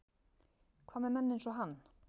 Hvað með menn eins og hann?